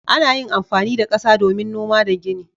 Ana yin amfani da kasa domin noma da gini.